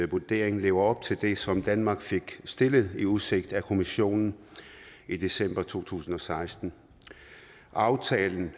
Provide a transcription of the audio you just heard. vurdering lever op til det som danmark fik stillet i udsigt af kommissionen i december to tusind og seksten aftalen